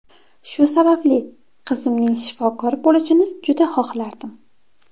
Shu sababli, qizimning shifokor bo‘lishini juda xohlardim.